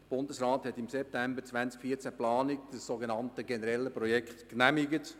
Der Bundesrat hat im September 2014 die Planung des generellen Projekts genehmigt.